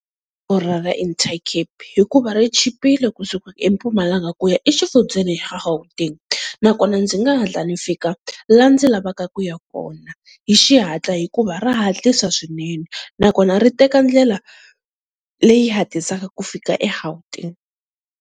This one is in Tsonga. Intercape hikuva ri chipile kusuka eMpumalanga ku ya exifundzeni xa Gauteng. Nakona ndzi nga hatla ni fika laha ndzi lavaka ku ya kona hi xihatla hikuva ra hatlisa swinene, nakona ri teka ndlela leyi hatlisaka ku fika eGauteng.